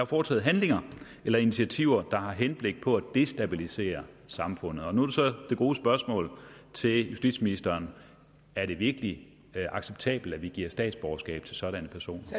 foretaget handlinger eller initiativer der har henblik på at destabilisere samfundet nu er så det gode spørgsmål til justitsministeren er det virkelig acceptabelt at vi giver statsborgerskab til sådanne personer